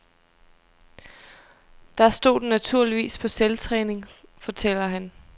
Der stod den naturligvis på selvtræning, fortæller han.